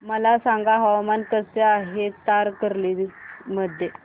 मला सांगा हवामान कसे आहे तारकर्ली मध्ये